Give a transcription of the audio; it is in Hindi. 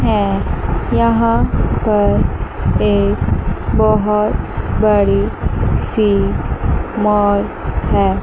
है यहां पर एक बहुत बड़ी सी मौल है।